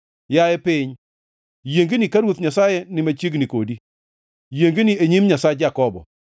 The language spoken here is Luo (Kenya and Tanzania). Yaye piny, yiengni ka Ruoth Nyasaye ni machiegni kodi, yiengni e nyim Nyasach Jakobo,